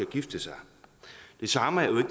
gifte sig det samme er jo